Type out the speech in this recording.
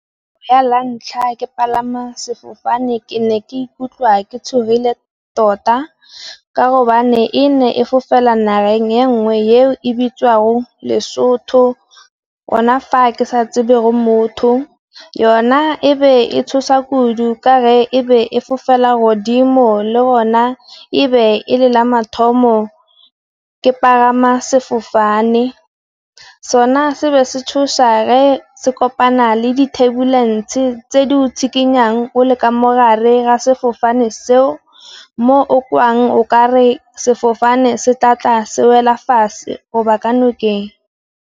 La ntlha ke palama sefofane ke ne ke ikutlwa ke tshogile tota, ka gobane e ne e fofela nageng ya nngwe eo e bitswago Lesotho. Gona fa ke sa tsebe re motho, yona e be e tshosa kudu ka ge ebe e fofela godimo le gona ebe e lela mathomo ke pagama sefofane. Sona se ba se tshosa ge se kopana le dithebulese tse di o tshikinyang o le ka mo gare ga sefofane seo, mo o kwang o kare sefofane se tla tla se wela fatshe go ba ka nokeng.